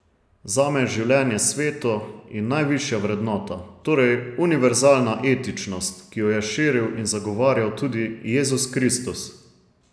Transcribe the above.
Zame je življenje sveto in najvišja vrednota, torej univerzalna etičnost, ki jo je širil in zagovarjal tudi Jezus Kristus.